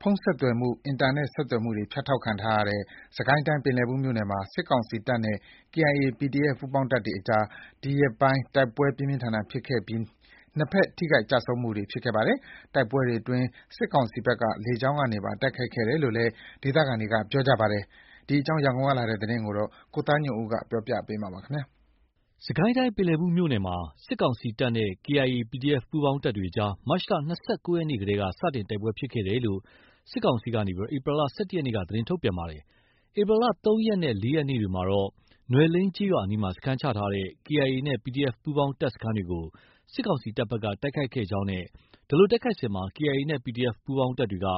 ဖုန်းဆက်သွယ်မှု၊ အင်တာနက် ဆက်သွယ်မှုတွေ ဖြတ်တောက်ခံထားရတဲ့ စစ်ကိုင်းတိုင်း ပင်လည်ဘူးမြို့နယ်မှာ စစ်ကောင်စီတပ်နဲ့ KIA ၊ PDF ပူးပေါင်းတပ်တွေအကြား ဒီရက်ပိုင်းတိုက်ပွဲ ပြင်းပြင်းထန်ထန်ဖြစ်ခဲ့ပြီး နှစ်ဘက် ထိခိုက်ကျဆုံးမှုတွေ ဖြစ်ခဲ့ပါတယ်။ တိုက်ပွဲတွေအတွင်း စစ်ကောင်စီဘက်က လေကြောင်းကနေပါ တိုက်ခိုက်ခဲ့တယ်လို့လည်း ဒေသခံတွေက ပြောပါတယ်။ ရန်ကုန်ကလာတဲ့ ဒီသတင်းကိုတော့ ကိုသားညွန့်ဦးက တင်ပြပေးထားပါတယ်။ စစ်ကိုင်းတိုင်း ပင်လည်ဘူးမြို့နယ်မှာ စစ်ကောင်စီတပ်နဲ့ KIA ၊ PDF ပူးပေါင်းတပ်တွေကြား မတ် ၂၉ ရက်နေ့ ကတည်းက စတင် တိုက်ပွဲဖြစ်ခဲ့တယ်လို့ စစ်ကောင်စီက ဧပြီ ၁၁ ရက်နေ့က သတင်းထုတ်ပြန်ပါတယ်။ ဧပြီလ ၃ ရက်နဲ့ ၄ ရက်နေ့တွေမှာတော့ နွယ်လိန်ကျေးရွာအနီးမှာ စခန်းချထားတဲ့ KIA နဲ့ PDF ပူးပေါင်း တပ်စခန်းတွေကို စစ်ကောင်စီတပ်က တိုက်ခိုက်ခဲ့ကြောင်းနဲ့ ဒီလိုတိုက်ခိုက်စဉ် KIA နဲ့ PDF ပူးပေါင်းတပ်တွေက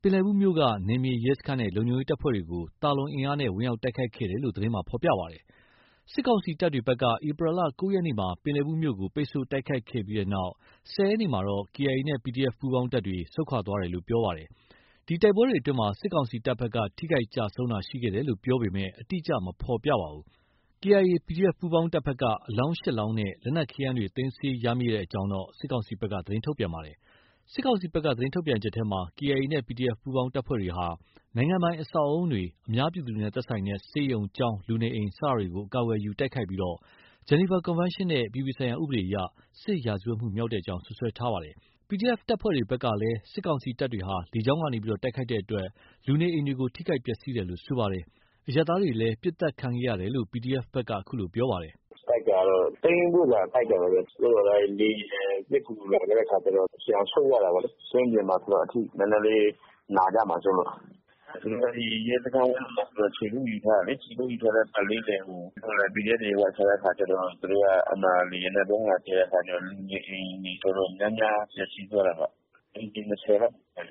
ပင်လည်ဘူးမြို့က နယ်မြေရဲစခန်းနဲ့ လုံခြုံရေးတပ်ဖွဲ့တွေကို သာလွန်အင်အားနဲ့ ဝင်ရောက်တိုက်ခိုက်ခဲ့တယ်လို့ သတင်းမှာ ဖော်ပြပါတယ်။ စစ်ကောင်စီတပ်တွေဘက်က ဧပြီလ ၉ ရက်နေ့မှာ ပင်လည်ဘူးမြို့ကို ပိတ်ဆို့ တိုက်ခိုက်ခဲ့ပြီးနောက် ၁၀ ရက်နေ့မှာတော့ KIA နဲ့ PDF ပူးပေါင်းတပ်တွေ ဆုတ်ခွာသွားတယ်လို့ ပြောထားပါတယ်။ ဒီတိုက်ပွဲတွေအတွင်းမှာ စစ်ကောင်စီတပ်ဘက်က ထိခိုက်ကျဆုံးတာ ရှိခဲ့တယ်လို့ ပြောပြီး အတိအကျ မဖော်ပြပေမဲ့ KIA၊ PDF ပူးပေါင်းတပ်ဘက်က အလောင်း ၈ လောင်းနဲ့ လက်နက် ခဲယမ်းတွေ သိမ်းဆည်းရမိကြောင်း စစ်ကောင်စီဘက်က သတင်းထုတ်ပြန်ပါတယ်။ စစ်ကောင်စီဘက်က သတင်းထုတ်ပြန်ချက်မှာ KIA နဲ့ PDF ပူးပေါင်းတပ်ဖွဲ့တွေဟာ နိုင်ငံပိုင်အဆောက်အဦးတွေ၊ အများပြည်သူနဲ့ သက်ဆိုင်တဲ့ ဆေးရုံ၊ ကျောင်း၊ လူနေအိမ် စတာတွေကို အကာအကွယ်ယူ တိုက်ခိုက် ဂျနီဗာကွန်ဗန်းရှင်းနဲ့ အပြည်ပြည်ဆိုင်ရာ ဥပဒေအရ စစ်ရာဇဝတ်မှုမြောက်ကြောင်း စွပ်စွဲထားပါတယ်။ PDF တပ်ဖွဲ့တွေဘက်ကလည်း စစ်ကောင်စီတပ်တွေက လေကြောင်းကနေ တိုက်ခိုက် တဲ့ အတွက် လူနေအိမ်တွေကို ထိခိုက်ပျက်စီးတယ်လို့ ပြောပါတယ်။ အရပ်သားတွေလည်း ပစ်သတ်ခံရတယ်လို့ ခုလိုပြောပါတယ်။ “တိုက်တာကတော့ သိမ်းဖို့ရာ တိုက်တာပါပဲ။ သို့သော် လေယာဉ်ပစ်ကူလာတဲ့အခါကျတော့ ပြန်ဆုတ်ရတာပေါ့။ ကွင်းပြင်မှာကျတော့ အထိနည်းနည်းနာကြမှာစိုးလို့။ အဲဒီရဲစခန်းဝင်းမှာ ခြေကုပ်ယူထားတာလေ။ ခြေကုပ်ယူထားတဲ့အခါ PDF တွေ ဝင်ချတဲ့အခါကျတော့ သူတို့က လေယာဉ်နဲ့ ဗုံးလာကြဲတဲ့အခါကျတော့ လူနေအိမ်တွေ အတော် များများ ပျက်စီးသွားတာပဲ။ အိမ်ခြေ ၂၀ လောက်ရှိမယ်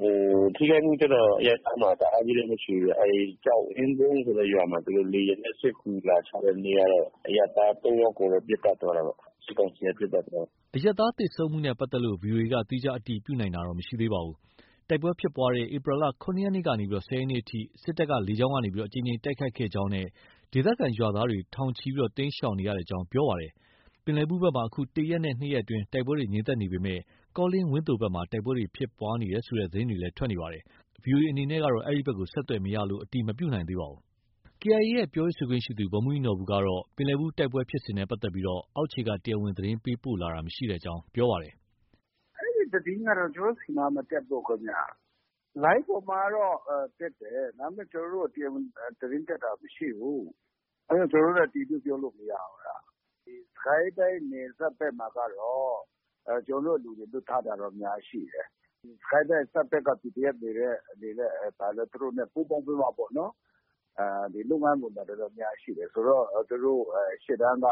ဗျ။ ထိခိုက်မှုကျတော့ အရပ်သားမှာ တအားကြီး မထိဘူးဗျ။ အဲဒီကျောက်အင်းကုန်းဆိုတဲ့ရွာမှာ လေယာဉ်နဲ့ စစ်ကူလာချတဲ့နေ့ကတော့ အရပ်သား ၃ ယောက်ကိုတော့ ပစ်သတ်သွားတာပေါ့။ စစ်ကောင်စီက ပစ်သတ်သွားတာ။” အရပ်သားသေဆုံးမှုနဲ့ပတ်သက်လို့ ဗွီအိုအေက သီးခြား အတည်ပြုနိုင်ခြင်း မရှိသေးပါဘူး။ တိုက်ပွဲဖြစ်ပွားတဲ့ ဧပြီ ၇ နေ့ကနေ ၁၀ ရက်နေ့အထိ စစ်တပ်က လေကြောင်းကနေ အကြိမ်ကြိမ်တိုက်ခိုက်ခဲ့ကြောင်းနဲ့ ဒေသခံရွာသားတွေ ထောင်ချီတိမ်းရှောင်နေရကြောင်း ပြောပါတယ်။ ပင်လည်ဘူးဘက်မှာ အခု ၁ ရက် ၂ ရက်အတွင်း တိုက်ပွဲတွေ ငြိမ်သက်နေပေမယ့် ကောလင်း၊ ဝန်းသိုဘက်မှာ တိုက်ပွဲဖြစ်ပွားနေတယ်ဆိုတဲ့ သတင်းတွေလည်း ထွက်ပေါ်နေပါတယ်။ ဗီအိုအေအနေနဲ့တော့ အဲဒီဘက် ဆက်သွယ်လို့ မရလို့ အတည်မပြုနိုင်သေးပါဘူး။ KIA ရဲ့ ပြောရေးဆိုခွင့်ရှိသူ ဗိုလ်မှူးကြီးနော်ဘူကတော့ ပင်လည်ဘူးတိုက်ပွဲဖြစ်စဉ်နဲ့ပတ်သက်ပြီး အောက်ခြေက တရားဝင် သတင်းပို့လာတာ မရှိကြောင်း ပြောပါတယ်။ “အဲဒီသတင်းကတော့ ကျနော်တို့ဆီမှာ မတက်ဘူးခင်ဗျ။ လိုင်းပေါ်မှာတော့တက်တယ်။ ဒါပေမယ့် ကျနော်တို့ တရားဝင်သတင်းတက်တာ မရှိဘူး။ အဲဒါ ကျနော်တို့လည်း အတည်ပြုပြောလို့ မရဘူး။ စစ်ကိုင်းတိုင်း နယ်စပ်ဘက်ကမှာကတော့ ကျနော်တို့ လူတွေ လွှတ်ထားတာတော့ အများကြီး ရှိတယ်။ စစ်ကိုင်းတိုင်းအစပ်က PDF တွေနဲ့ ပူးပေါင်းပြီးမှ ပေါ့နော်။ လုပ်ငန်းဝင်တာ အများကြီးရှိတယ်။ ဆိုတော့ သူတို့ ရှေ့တန်းက တ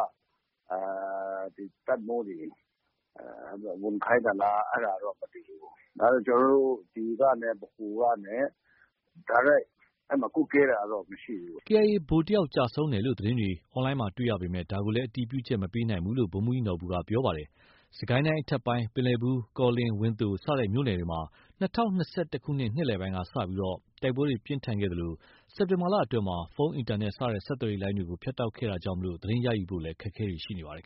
ပ်မှူးတွေ ဝင်ခိုင်းသလား အဲဒါတော့ မသိဘူး။ ဒါပေမဲ့ ကျနော်တို့ ဒီကနေ၊ ဗဟိုကနေ တိုက်ရိုက် ကွပ်ကဲတာတော့ မရှိဘူး။” KIA က ဗိုလ်တယောက်ကျဆုံးတယ်လို့သတင်းတွေ အွန်လိုင်းမှာတွေ့ရပေမယ့် ဒါကိုလည်း အတည်ပြုချက် မပေးနိုင်ဘူးလို့ ဗိုလ်မှူးကြီးနော်ဘူကပြောပါတယ်။ စစ်ကိုင်းတိုင်း အထက်ပိုင်း ပင်လည်ဘူး၊ ကောလင်း၊ ဝန်းသို စတဲ့မြို့နယ်တွေမှာ ၂၀၂၁ ခုနှစ် နှစ်လယ်ပိုင်းက စတင်ပြီး တိုက်ပွဲတွေပြင်းထန်ခဲ့သလို စက်တင်ဘာလအတွင်းမှာ ဖုန်း၊ အင်တာနက် စတဲ့ ဆက်သွယ်ရေးလိုင်းတွေကို ဖြတ်တောက်ခဲ့တာကြောင့် သတင်းရယူဖို့ အခက်အခဲတွေ ရှိနေပါတယ်